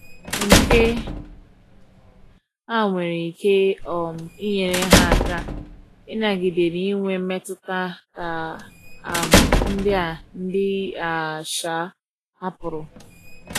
nke a nwere ike um inyere ha aka inagide na inwe mmetuta ka um ndi a ndi a um hapụrụ